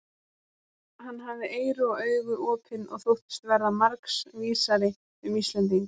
Hann hafði eyru og augu opin og þóttist verða margs vísari um Íslendinga.